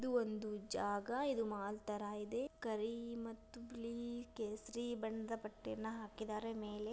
ಇದು ಒಂದು ಜಾಗ ಇದು ಮಾಲ್ ತರ ಇದೆ ಕರಿ ಮತ್ತು ಬಿಳಿ ಕೇಸರಿ ಬಣ್ಣದ ಪಟ್ಟೆಯನ್ನ ಹಾಕಿದರೆ ಮೆಲೆ.